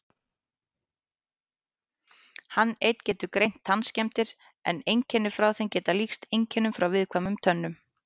Hann einn getur greint tannskemmdir en einkenni frá þeim geta líkst einkennum frá viðkvæmum tönnum.